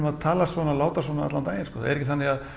að tala svona og láta svona allan daginn það er ekki þannig